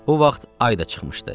Bu vaxt ay da çıxmışdı.